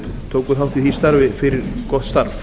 tóku þátt í því starfi fyrir gott starf